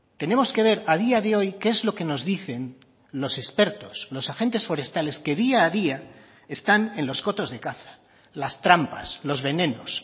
tenemos que ver a día de hoy qué es lo que nos dicen los expertos los agentes forestales que día a día están en los cotos de caza las trampas los venenos